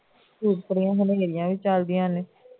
ਧੂਲ ਭਰੀ ਹਨੇਰੀ ਆ ਵੀ ਚੱਲਦੀਆਂ ਨੇ